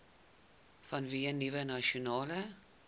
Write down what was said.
vanweë nuwe nasionale